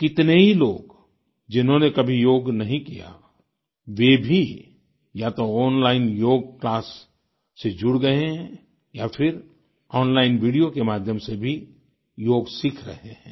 कितने ही लोग जिन्होंने कभी योग नहीं किया वे भी या तो ओनलाइन योग क्लास से जुड़ गए हैं या फिर ओनलाइन वीडियो के माध्यम से भी योग सीख रहे हैं